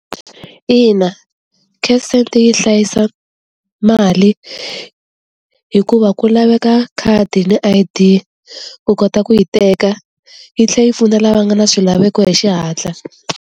Ina cash send yi hlayisa mali hikuva ku laveka khadi ni I_D ku kota ku yi teka yi tlhela yi pfuna lava nga na swilaveko hi xihatla.